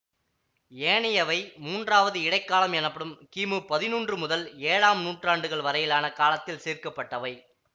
ஏனையவை மூன்றாவது இடைக் காலம் எனப்படும் கிமு பதினொன்று முதல் ஏழாம் நூற்றாண்டுகள் வரையிலான காலத்தில் சேர்க்கப்பட்டவை